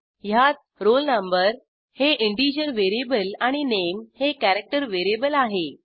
ह्यात roll no हे integer variable आणि नामे हे कॅरॅक्टर व्हेरिएबल आहे